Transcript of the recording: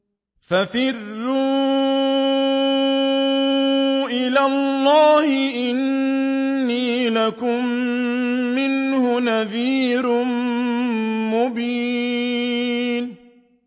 فَفِرُّوا إِلَى اللَّهِ ۖ إِنِّي لَكُم مِّنْهُ نَذِيرٌ مُّبِينٌ